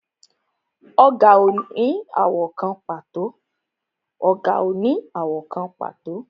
Ọ̀gà ò ní àwọ̀ kan pàtó